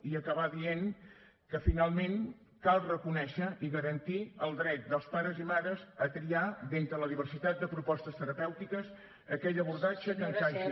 i acabar dient que finalment cal reconèixer i garantir el dret dels pares i mares a triar d’entre la diversitat de propostes terapèutiques aquell abordatge que encaixi